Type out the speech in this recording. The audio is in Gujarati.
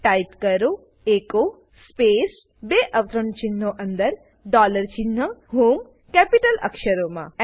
ટાઇપ કરો એચો સ્પેસ બે અવતરણચિહ્નો અંદર ડોલર ચિન્હ હોમ કેપિટલ અક્ષરમાં